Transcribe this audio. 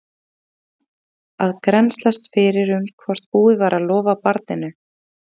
Finnur bað hann að grennslast fyrir um hvort búið væri að lofa barninu.